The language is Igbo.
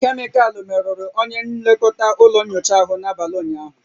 Kemịkalụ merụrụ onye nlekọta ụlọ nyocha ahụ n'abalị ụnyaahụ